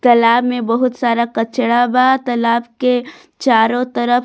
तालाब में बहुत सारा कचरा बा तालाब के चारों तरफ --